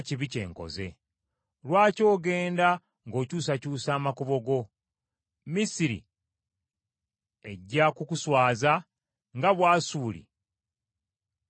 Lwaki ogenda ng’okyusakyusa amakubo go! Misiri ejja kukuswaza nga Bwasuli bwe yakuswaza.